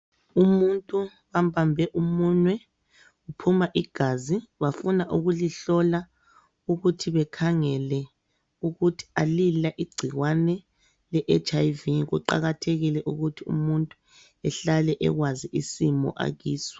Umuntu bambambe umunwe ,uphuma igazi bafuna ukulihlola ,ukuthi bekhangele ukuthi alila igcikwane le HIV . Kuqakathekile ukuthi umuntu ehlale ekwazi isimo akiso.